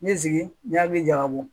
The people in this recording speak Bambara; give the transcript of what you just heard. N bɛ jigin n y'a min jaga bɔ